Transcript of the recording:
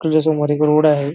तुझ्यासमोर एक रोड आहे.